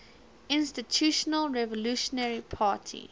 institutional revolutionary party